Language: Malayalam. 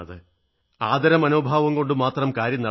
ആദരമനോഭാവം കൊണ്ടു മാത്രം കാര്യം നടക്കില്ല